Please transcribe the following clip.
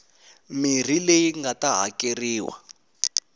mirhi leyi nga ta hakeriwa